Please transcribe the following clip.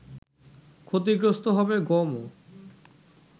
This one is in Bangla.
ক্ষতিগ্রস্ত হবে গমও